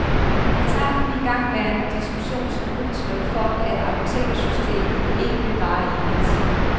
Jeg tager den igangværende diskussion som udtryk for, at apotekersystemet ikke vil vare evigt.